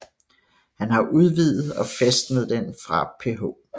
Han har udvidet og fæstnet den fra Ph